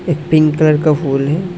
एक pink colour का फूल है।